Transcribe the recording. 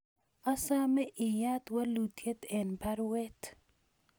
Asome iyat walutyet en baruet